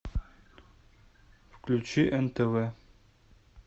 включи нтв